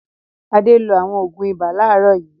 Adé lo àwọn òògùn ibà láàárọ̀ yìí.